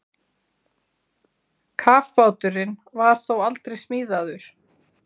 Kafbáturinn var þó aldrei smíðaður.